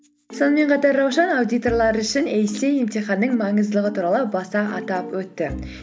сонымен қатар раушан аудиторлар үшін эйсиэй емтиханның маңыздылығы туралы баста атап өтті